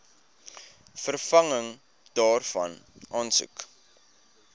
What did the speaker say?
vervanging daarvan aansoek